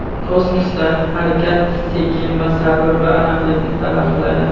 Kosmosda harakat sekin va sabr va aniqlikni talab qiladi.